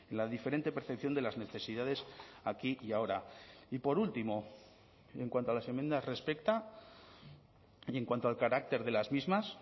la diferente percepción de las necesidades aquí y ahora y por último y en cuanto a las enmiendas respecta y en cuanto al carácter de las mismas